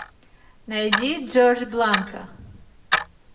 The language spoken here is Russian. найди джордж бланко